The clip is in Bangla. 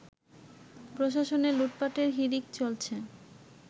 প্রশাসনে লুটপাটের হিড়িক চলছে